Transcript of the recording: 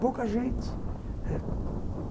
Pouca gente ãh